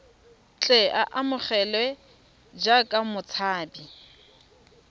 tle a amogelwe jaaka motshabi